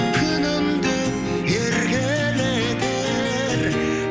күнім деп еркелетер